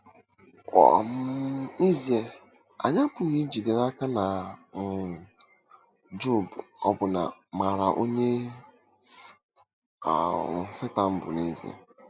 um N'ezie, anyị apụghị ijide n'aka na um Job ọbụna maara onye um Setan bụ n'ezie!